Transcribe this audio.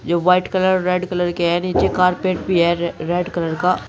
यह white colour red colour के है नीचे कारपेट भी है रेड कलर का।